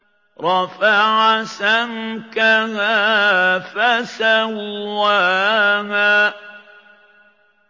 رَفَعَ سَمْكَهَا فَسَوَّاهَا